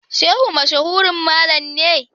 Shehu mashahurin mallam ne.